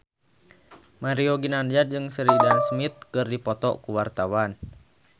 Mario Ginanjar jeung Sheridan Smith keur dipoto ku wartawan